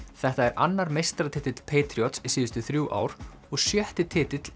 þetta er annar meistaratitill Patriots síðustu þrjú ár og sjötti titill